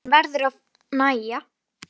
Sturtan verður því að nægja.